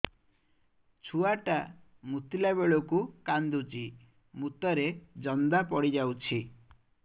ଛୁଆ ଟା ମୁତିଲା ବେଳକୁ କାନ୍ଦୁଚି ମୁତ ରେ ଜନ୍ଦା ପଡ଼ି ଯାଉଛି